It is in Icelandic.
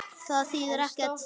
Það þýðir ekkert.